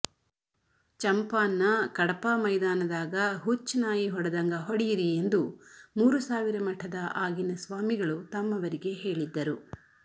ಚಂಪಾನ್ನ ಕಡಪಾ ಮೈದಾನದಾಗ ಹುಚ್ಚನಾಯಿ ಹೊಡದಂಗ ಹೊಡೀರಿ ಎಂದು ಮೂರುಸಾವಿರ ಮಠದ ಆಗಿನ ಸ್ವಾಮಿಗಳು ತಮ್ಮವರಿಗೆ ಹೇಳಿದ್ದರು